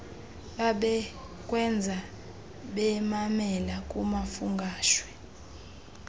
babekwenza bamamela kumafungwashe